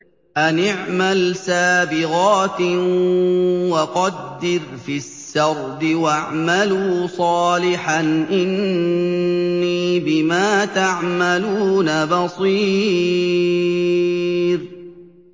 أَنِ اعْمَلْ سَابِغَاتٍ وَقَدِّرْ فِي السَّرْدِ ۖ وَاعْمَلُوا صَالِحًا ۖ إِنِّي بِمَا تَعْمَلُونَ بَصِيرٌ